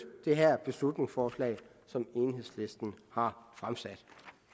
det her beslutningsforslag som enhedslisten har fremsat